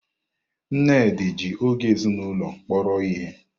Nnedi ji oge ezinụlọ kpọrọ ihe.